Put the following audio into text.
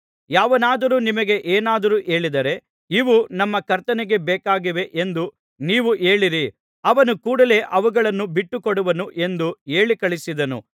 ಯಾವನಾದರೂ ನಿಮಗೆ ಏನಾದರೂ ಹೇಳಿದರೆ ಇವು ನಮ್ಮ ಕರ್ತನಿಗೆ ಬೇಕಾಗಿವೆ ಎಂದು ನೀವು ಹೇಳಿರಿ ಅವನು ಕೂಡಲೆ ಅವುಗಳನ್ನು ಬಿಟ್ಟು ಕೊಡುವನು ಎಂದು ಹೇಳಿ ಕಳುಹಿಸಿದನು